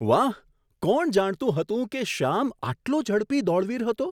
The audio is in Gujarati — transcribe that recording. વાહ! કોણ જાણતું હતું કે શ્યામ આટલો ઝડપી દોડવીર હતો?